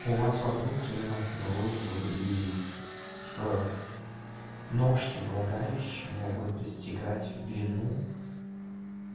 у вас во внутрь у нас наружу и типа ножки влагалища могут достигать в длину